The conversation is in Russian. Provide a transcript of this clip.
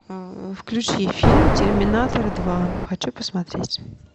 включи фильм терминатор два хочу посмотреть